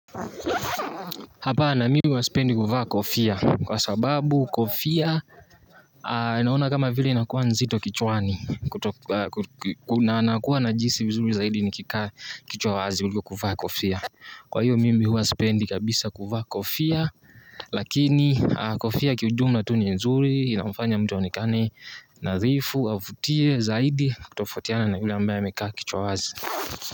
Hapana mimi huwa spendi kuvaa kofia kwa sababu kofia naona kama vile inakuwa nzito kichwani. Na nakuwa najihisi vizuri zaidi ni kikaa kichwa wazi kuliko kuvaa kofia. Kwa hiyo mimi huwa spendi kabisa kuvaa kofia lakini kofia kiujumla tu ni nzuri inamfanya mtu onekane nadhifu avutie zaidi kutofautiana na yule ambaye amekaa kichwa wazi.